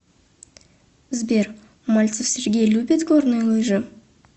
сбер мальцев сергей любит горные лыжи